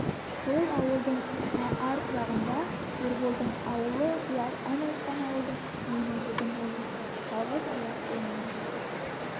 сол ауылдың ар жағында ерболдың аулы бұлар ән айтқан ауылдың үстінен өтетін болды жалғыз аяқ жолмен